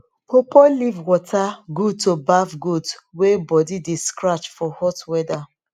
pawpaw leaf water good to baf goat wey body de scratch for hot weather